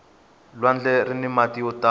lwandle rini mati yo tala